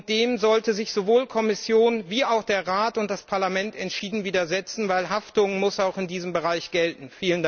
Dem sollten sich sowohl die Kommission als auch der Rat und das Parlament entschieden widersetzen, denn Haftung muss auch in diesem Bereich gelten.